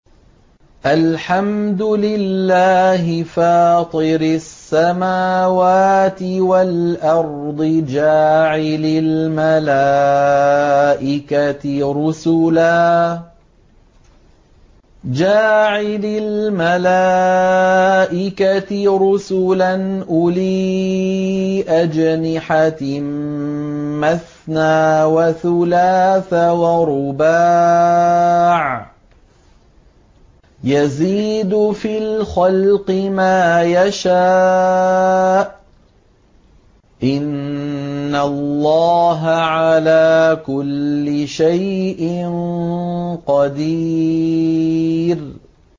الْحَمْدُ لِلَّهِ فَاطِرِ السَّمَاوَاتِ وَالْأَرْضِ جَاعِلِ الْمَلَائِكَةِ رُسُلًا أُولِي أَجْنِحَةٍ مَّثْنَىٰ وَثُلَاثَ وَرُبَاعَ ۚ يَزِيدُ فِي الْخَلْقِ مَا يَشَاءُ ۚ إِنَّ اللَّهَ عَلَىٰ كُلِّ شَيْءٍ قَدِيرٌ